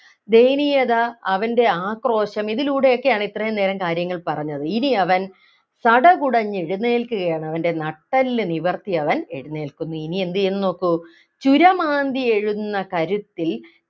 ദയനീയത അവൻ്റെ ആക്രോശം ഇതിലൂടെയൊക്കെയാണ് ഇത്രയും നേരം കാര്യങ്ങൾ പറഞ്ഞത് ഇനി അവൻ സടകുടഞ്ഞ് എഴുന്നേൽക്കുകയാണ് അവൻ്റെ നട്ടെല്ല് നിവർത്തി അവൻ എഴുന്നേൽക്കുന്നു ഇനി എന്ത് ചെയ്യുംന്ന് നോക്കൂ ചുരമാന്തിയെഴുന്ന കരുത്തിൻ